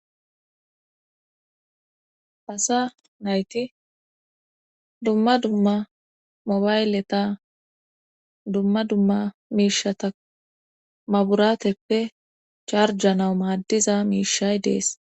asa nayti dumma dumma mobayleta dumma dumma miishata maburateppe charjanawu maaddiza miishay dees.